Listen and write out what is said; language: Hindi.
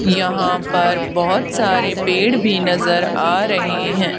यहां पर बहुत सारे पेड़ भी नजर आ रहे हैं।